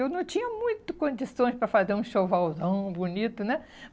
Eu não tinha muito condições para fazer um enxovalzão bonito, né?